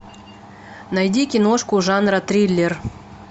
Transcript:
найди киношку жанра триллер